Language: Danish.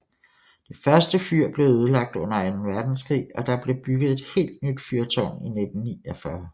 Det første fyr blev ødelagt under anden verdenskrig og der blev bygget et helt nyt fyrtårn i 1949